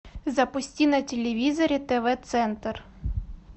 запусти на телевизоре тв центр